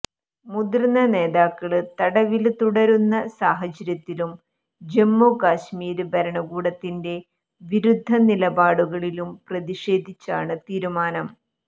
മുതിര്ന്ന നേതാക്കള് തടവില് തുടരുന്ന സാഹചര്യത്തിലും ജമ്മു കശ്മീര് ഭരണകൂടത്തിന്റെ വിരുദ്ധ നിലപാടുകളിലും പ്രതിഷേധിച്ചാണ് തീരുമാനം